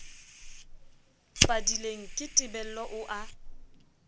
padileng ke tebello o a